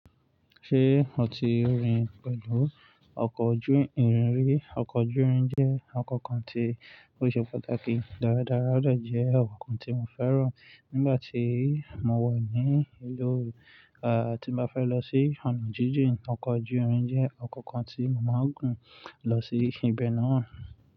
Ṣé o ti rin pẹ̀lú ọkọ̀ ojú irin rí? Ọkọ̀ ojú irin jẹ́ ọkọ̀ kan tí ó ṣe pàtàkì dáradára, ó de jẹ́ ọkọ̀ kan tí mo fẹ́ràn. Nígbà tí mo wa ní ìlú, ti n bá fẹ́ lọ sí ọ̀nà jíjìn, ọkọ̀ ojú irin jẹ́ ọkọ̀ kan tí mo màá gun lọ sí ibe náà.